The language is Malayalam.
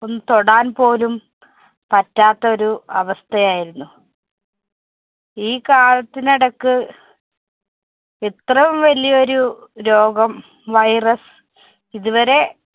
തൊടാന്‍പോലും പറ്റാത്തൊരു അവസ്ഥയായിരുന്നു. ഈ കാലത്തിനിടക്ക് ഇത്രയും വലിയൊരു രോഗം virus ഇതുവരെ